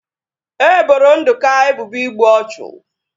E boro Nduka ebubo igbu ọchụ